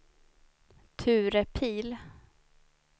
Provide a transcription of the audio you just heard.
Ture Pihl